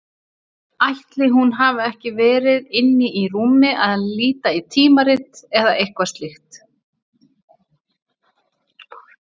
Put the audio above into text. Ætli hún hafi ekki verið inni í rúmi að líta í tímarit eða eitthvað slíkt.